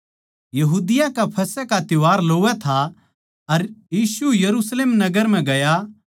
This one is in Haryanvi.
यहूदियाँ का फसह का त्यौहार लोवै था अर यीशु यरुशलेम नगर म्ह गया